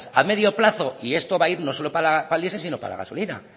a medio plazo y no esto va a ir no solo para el diesel sino para la gasolina